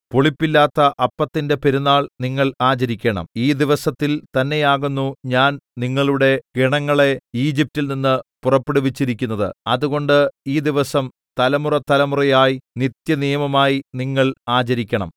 പുളിപ്പില്ലാത്ത അപ്പത്തിന്റെ പെരുന്നാൾ നിങ്ങൾ ആചരിക്കണം ഈ ദിവസത്തിൽ തന്നെയാകുന്നു ഞാൻ നിങ്ങളുടെ ഗണങ്ങളെ ഈജിപ്റ്റിൽ നിന്ന് പുറപ്പെടുവിച്ചിരിക്കുന്നത് അതുകൊണ്ട് ഈ ദിവസം തലമുറതലമുറയായി നിത്യനിയമമായി നിങ്ങൾ ആചരിക്കണം